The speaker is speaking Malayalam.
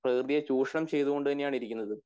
പ്രകൃതിയെ ചൂഷണം ചെയ്‌തുകൊണ്ട് തന്നെ ആണെന്ന് ഇരിക്കുന്നതു